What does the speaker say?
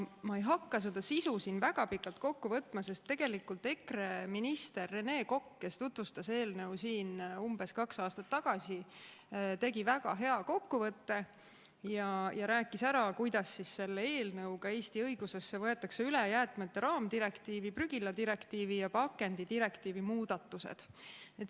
Ma ei hakka selle sisu siin väga pikalt kokku võtma, sest tegelikult EKRE minister Rene Kokk, kes tutvustas eelnõu siin umbes kaks aastat tagasi, tegi väga hea kokkuvõtte ja rääkis ära, kuidas selle eelnõuga Eesti õigusesse võetakse üle jäätmete raamdirektiivi, prügiladirektiivi ja pakendidirektiivi muudatused.